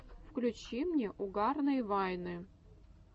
включи мне угарные вайны